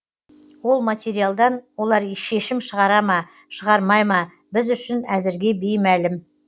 ол материалдан олар шешім шығара ма шығармай ма біз үшін әзірге беймәлім